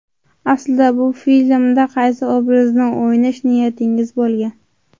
Aslida, bu filmda qaysi obrazni o‘ynash niyatingiz bo‘lgan?